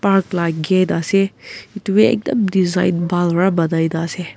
Park laga gate ase etu bhi design bhan para bonai na ase.